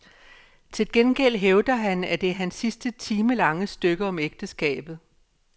Til gengæld hævder han, at det er hans sidste timelange stykke om ægteskabet.